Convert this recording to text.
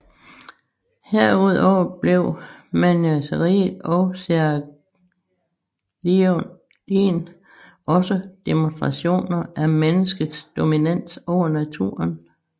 Herudover blev menagerier og seraglioer også demonstrationer af menneskets dominans over naturen